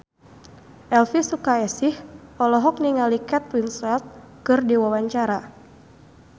Elvi Sukaesih olohok ningali Kate Winslet keur diwawancara